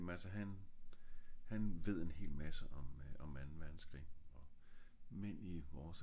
ja men altså han han ved en hel masse om øh om anden verdenskrig